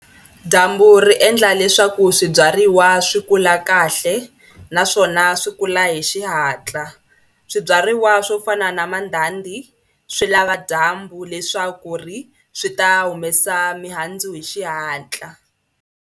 Dyambu ri endla leswaku swibyariwa swi kula kahle naswona swi kula hi xihatla. Swibyariwa swo fana na mandhandhi swi lava dyambu leswaku ri swi ta humesa mihandzu hi xihatla.